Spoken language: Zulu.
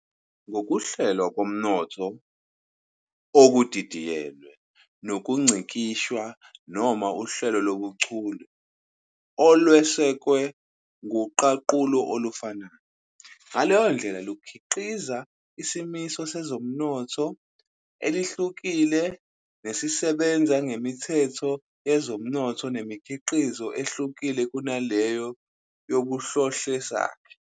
ngokuhlelwa komnotho okudidiyelwe nokungcikishwa noma uhlelo lobuchule olwesekwe kuqaqululo olufanayo, ngaleyondlela lukhiqiza isimiso sezomnotho elihlukile nesisebenza ngemithetho yezomnotho nemidkizo ehlukile kunaleyo yobuhlohlesakhe.